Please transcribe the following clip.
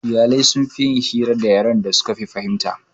Iyalai sunfi yin hira da harshen yaren da suke fahimta